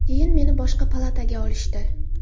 Keyin meni boshqa palataga olishdi.